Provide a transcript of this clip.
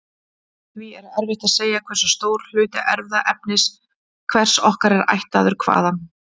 Því er erfitt að segja hversu stór hluti erfðaefnis hvers okkar er ættaður hvaðan.